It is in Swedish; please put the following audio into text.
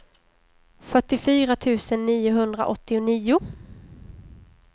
fyrtiofyra tusen niohundraåttionio